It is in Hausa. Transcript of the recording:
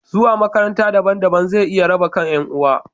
Zuwa makaranta daban-daban zai iya raba kan ’yan uwa.